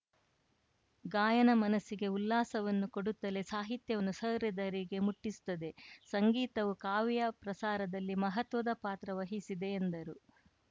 ಗಾಯನ ಮನಸ್ಸಿಗೆ ಉಲ್ಲಾಸವನ್ನು ಕೊಡುತ್ತಲೇ ಸಾಹಿತ್ಯವನ್ನು ಸಹೃದಯರಿಗೆ ಮುಟ್ಟಿಸುತ್ತದೆ ಸಂಗೀತವು ಕಾವ್ಯ ಪ್ರಸಾರದಲ್ಲಿ ಮಹತ್ವದ ಪಾತ್ರ ವಹಿಸಿದೆ ಎಂದರು